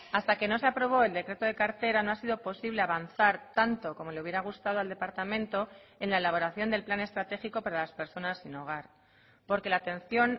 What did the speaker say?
hasta que no se aprobó el decreto de cartera no ha sido posible avanzar tanto como le hubiera gustado al departamento en la elaboración del plan estratégico para las personas sin hogar porque la atención